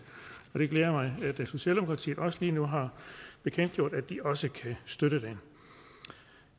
og det glæder mig at socialdemokratiet lige nu har bekendtgjort at de også kan støtte det